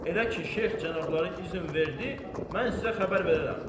Elə ki Şeyx cənabları izin verdi, mən sizə xəbər verərəm.